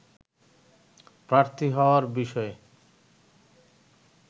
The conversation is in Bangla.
প্রার্থী হওয়ার বিষয়ে